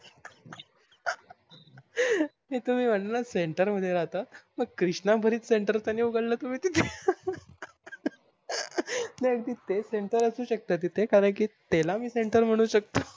हे तुम्ही म्हटलं center मध्ये राहता मग क्रीस्ना भरीत center तर नाही उघडल नाही तुम्ही तेथे नाही तेच center आशु सकते तिथ कारण कि त्याला center म्हणू सकत